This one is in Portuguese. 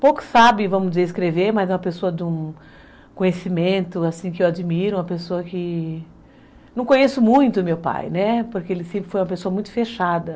Pouco sabe, vamos dizer, escrever, mas é uma pessoa de um conhecimento, assim que eu admiro, uma pessoa que... Não conheço muito meu pai, porque ele sempre foi uma pessoa muito fechada.